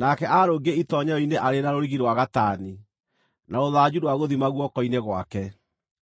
nake aarũngiĩ itoonyero-inĩ arĩ na rũrigi rwa gatani, na rũthanju rwa gũthima guoko-inĩ gwake.